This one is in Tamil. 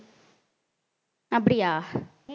அப்படியா